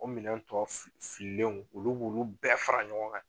O minɛn tɔ fililenw olu b'olu bɛɛ fara ɲɔgɔn kan